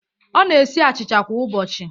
Ọ na-esi achịcha kwa ụbọchị